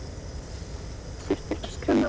Surtur öskraði: MAMMÚTA!